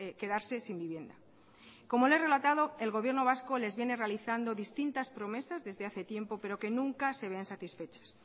quedarse sin vivienda como le he relatado el gobierno vasco les viene realizando distintas promesas desde hace tiempo pero que nunca se ven satisfechas